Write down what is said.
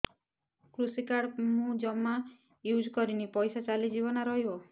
କୃଷି କାର୍ଡ ମୁଁ ଜମା ୟୁଜ଼ କରିନି ପଇସା ଚାଲିଯିବ ନା ରହିବ